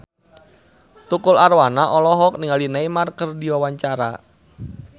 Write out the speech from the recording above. Tukul Arwana olohok ningali Neymar keur diwawancara